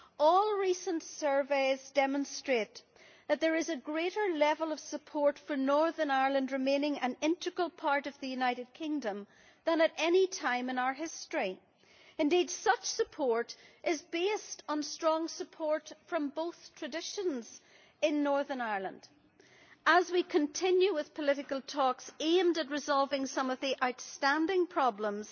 All recent surveys demonstrate that there is a greater level of support for Northern Ireland remaining an integral part of the United Kingdom than at any time in our history. Indeed, such support is based on strong support from both traditions in Northern Ireland. As we continue with political talks aimed at resolving some of the outstanding problems,